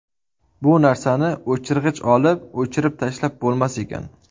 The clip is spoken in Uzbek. Bu narsani o‘chirg‘ich olib, o‘chirib tashlab bo‘lmas ekan.